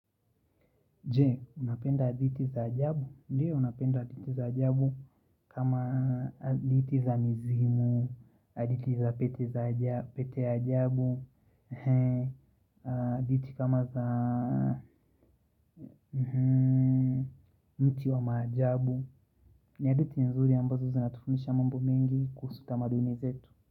Je unapenda hadithi za ajabu? Ndio napenda hadithi za ajabu kama hadithi za mizimu, hadithi za pete ya ajabu, hadithi kama za mti wa maajabu ni hadithi nzuri ambazo zinatufundisha mambo mengi kuhusu tamaduni zetu.